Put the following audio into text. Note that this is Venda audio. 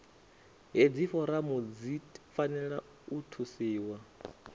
hedzi foramu dzi fanela u thusiwa